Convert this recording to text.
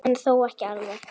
En þó ekki alveg.